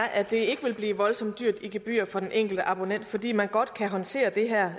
at det ikke vil blive voldsomt dyrt i gebyrer for den enkelte abonnent fordi man godt kan håndtere det her